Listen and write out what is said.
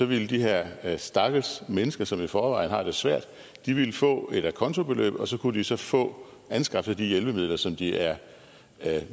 ville de her her stakkels mennesker som i forvejen har det svært få et a conto beløb og så kunne de så få anskaffet de hjælpemidler som de er